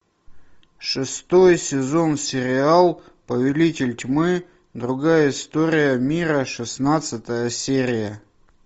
шестой сезон сериал повелитель тьмы другая история мира шестнадцатая серия